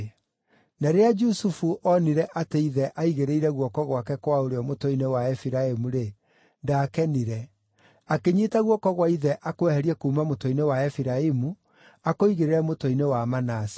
Na rĩrĩa Jusufu onire atĩ ithe aigĩrĩire guoko gwake kwa ũrĩo mũtwe-inĩ wa Efiraimu-rĩ, ndaakenire; akĩnyiita guoko gwa ithe akweherie kuuma mũtwe-inĩ wa Efiraimu, akũigĩrĩre mũtwe-inĩ wa Manase.